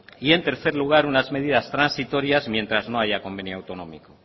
y en tercer lugar unas medidas transitorias mientras no haya convenio autonómico